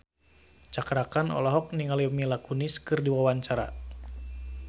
Cakra Khan olohok ningali Mila Kunis keur diwawancara